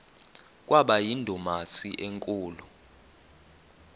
kwaba yindumasi enkulu